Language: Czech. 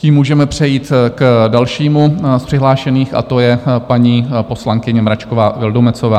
Tím můžeme přejít k dalšímu z přihlášených a to je paní poslankyně Mračková Vildumetzová.